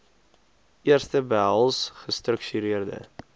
eerste behels gestruktureerde